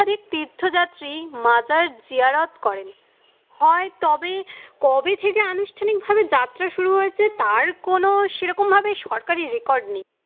অত্যাধিক তীর্থযাত্রী মাজার জিয়ারত করেন। হয় তবে কবে থেকে আনুষ্ঠানিক ভাবে যাত্রা শুরু হয়েছে তার কোনো সেরকমভাবে সরকারী record নেই।